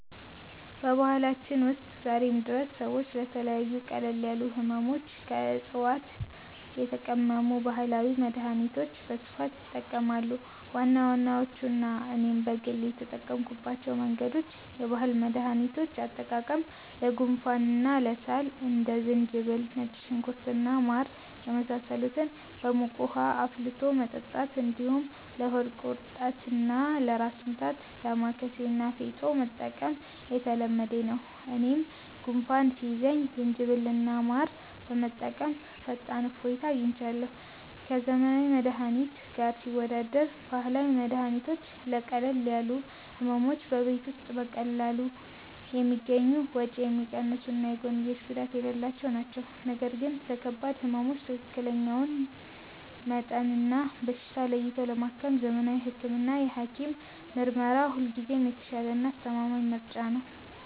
በባህላችን ውስጥ ዛሬም ድረስ ሰዎች ለተለያዩ ቀለል ያሉ ሕመሞች ከዕፅዋት የተቀመሙ ባህላዊ መድኃኒቶችን በስፋት ይጠቀማሉ። ዋና ዋናዎቹና እኔም በግል የተጠቀምኩባቸው መንገዶች፦ የባህል መድኃኒቶች አጠቃቀም፦ ለጉንፋንና ለሳል እንደ ዝንጅብል፣ ነጭ ሽንኩርት እና ማር የመሳሰሉትን በሙቅ ውኃ አፍልቶ መጠጣት፣ እንዲሁም ለሆድ ቁርጠትና ለራስ ምታት «ዳማከሴ» እና «ፌጦ» መጠቀም የተለመደ ነው። እኔም ጉንፋን ሲይዘኝ ዝንጅብልና ማር በመጠቀም ፈጣን እፎይታ አግኝቻለሁ። ከዘመናዊ መድኃኒት ጋር ሲወዳደር፦ ባህላዊ መድኃኒቶች ለቀለል ያሉ ሕመሞች በቤት ውስጥ በቀላሉ የሚገኙ፣ ወጪ የሚቀንሱና የጎንዮሽ ጉዳት የሌላቸው ናቸው። ነገር ግን ለከባድ ሕመሞች ትክክለኛውን መጠንና በሽታ ለይቶ ለማከም ዘመናዊ ሕክምናና የሐኪም ምርመራ ሁልጊዜም የተሻለና አስተማማኝ ምርጫ ነው።